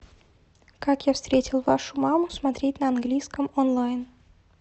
как я встретил вашу маму смотреть на английском онлайн